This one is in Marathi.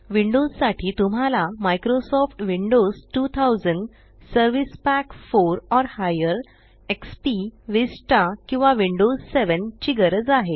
विंडोस साठी तुम्हाला मायक्रोसॉफ्ट विंडोज 2000 एक्सपी विस्ता किंवा विंडोज 7 ची गरज आहे